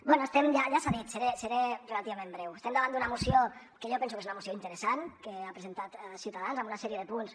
bé ja s’ha dit seré relativament breu estem davant d’una moció que jo penso que és una moció interessant que ha presentat ciutadans amb una sèrie de punts